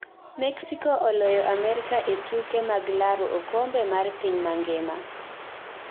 Mexico oloyo Amerka e tuke maglaro okombe mar piny mangima.